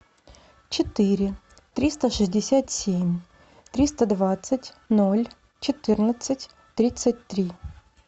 четыре триста шестьдесят семь триста двадцать ноль четырнадцать тридцать три